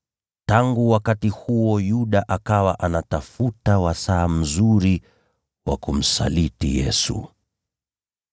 Tangu wakati huo Yuda akawa anatafuta wakati uliofaa wa kumsaliti Yesu.